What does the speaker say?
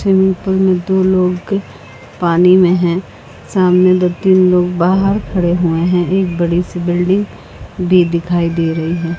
Swimming pool में दो लोग पानी में हैं सामने दो तीन लोग बाहर खड़े हुए हैं एक बड़ी सी बिल्डिंग भी दिखाई दे रही है।